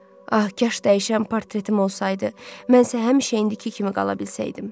Ah, kaş dəyişən portretim olsaydı, mən isə həmişə indiki kimi qala bilsəydim.